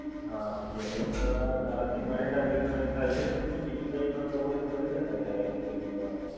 હા! બીજા બેન, પણ આનાથી મની ટ્રાન્સેકશનજ થાય છે કે પછી બીજું કઈ પણ કરવું હોય તો કરી શકાય છે આ એપ્લિકેશન દ્વારા